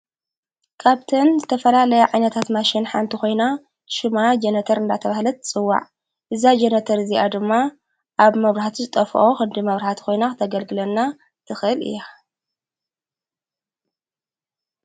ካብትን ዘተፈላለያ ዓይነታት ማሽን ሓንቲ ኾይና ሹማ ጀነተር እንዳተብህለት ጽዋዕ እዛ ጀነተር እዚኣ ድማ ኣብ መብራህቲ ዝጠፍኦ ኽዲ መብራኃቲ ኾይና ተገልግለና ትኽህል እያ።